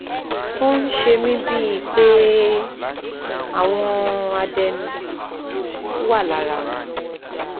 ó ń ṣe mí bíi pé àwọn adẹ́nú wà lára wọn